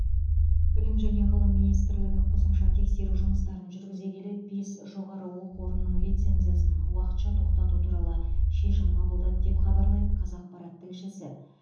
білім және ғылым министрлігі қосымша тексеру жұмыстарын жүргізе келе бес жоғары оқу орнының лицензиясын уақытша тоқтату туралы шешім қабылдады деп хабарлайды қазақпарат тілшісі